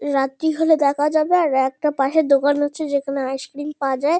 রাত্রি হলে দেখা যাবে। আর একটা পাশে দোকান আছে যেখানে আইস ক্রিম পাওয়া যায়।